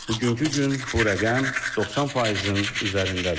bugünkü gün bu rəqəm 90%-in üzərindədir.